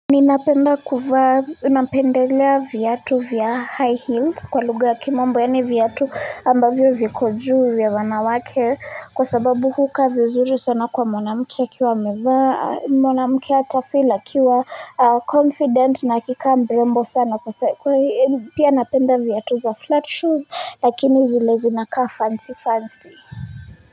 Ninapenda kuvaa, napendelea viatu vya high heels kwa lugha ya kimombo, yaani viatu ambavyo viko juu vya wanawake kwa sababu hukaa vizuri sana kwa mwanamke akiwa amevaa, mwanamke atafeel akiwa confident na akikaa mrembo sana kwa pia napenda viatu za flat shoes lakini zile zinakaa fancy fancy.